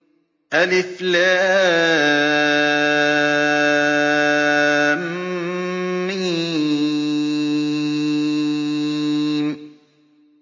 الم